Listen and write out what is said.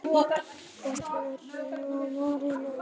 Þessa verkstjórn má reyndar yfirfæra á mörg önnur svið.